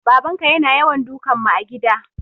Babanka yana yawan dukan mu a gida